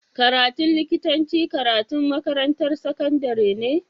Karatun likitanci karatun makarantar sakandari ne